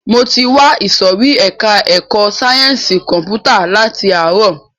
Mo ti wà ìsòrí ẹka ẹ̀kọ́ sáyẹnsì kọ̀mpútà láti ààrọ̀.